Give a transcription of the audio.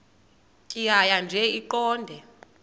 tjhaya nje iqondee